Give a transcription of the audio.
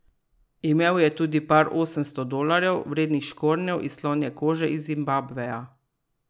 Imel je tudi par osemsto dolarjev vrednih škornjev iz slonje kože iz Zimbabveja.